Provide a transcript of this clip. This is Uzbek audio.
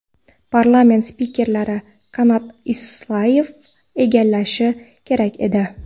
parlament spikeri Kanat Isayev egallashi kerak edi.